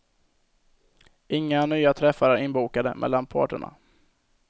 Inga nya träffar är inbokade mellan parterna.